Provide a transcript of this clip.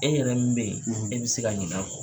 E yɛrɛ min be yen , e bi se ka ɲina a kɔ.